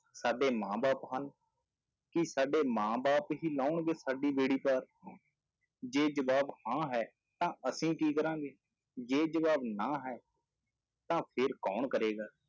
ਸਾਡੇ ਮਾਂ ਬਾਪ ਹਨ, ਕੀ ਸਾਡੇ ਮਾਂ ਬਾਪ ਹੀ ਲਾਉਣਗੇ ਸਾਡੀ ਬੇੜੀ ਪਾਰ ਜੇ ਜਵਾਬ ਹਾਂ ਹੈ ਤਾਂ ਅਸੀਂ ਕੀ ਕਰਾਂਗੇ, ਜੇ ਜਵਾਬ ਨਾਂ ਹੈ ਤਾਂ ਫਿਰ ਕੌਣ ਕਰੇਗਾ।